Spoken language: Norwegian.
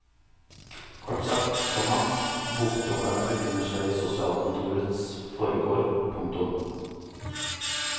Kort sagt, komma bokdropperne befinner seg i sosialkontorets forgård. punktum